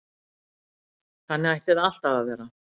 Þannig ætti það alltaf að vera